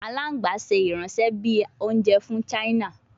Alagban ṣe iranṣẹ bi ounjẹ fun china